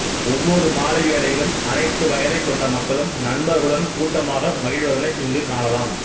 ஒவ்வொரு மாலை வேளையிலும் அனைத்து வயதக்கொண்ட மக்களும் நண்பர்களுடன் கூட்டமாக மகிழ்வதனை இங்கு காணலாம்